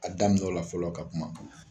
A daminɛ o la fɔlɔ ka kuma.